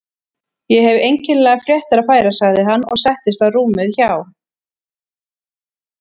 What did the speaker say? Ég hef einkennilegar fréttir að færa sagði hann og settist á rúmið hjá